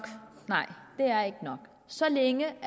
nej det er ikke nok så længe